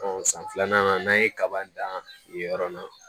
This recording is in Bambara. san filanan n'an ye kaba dan nin yɔrɔ la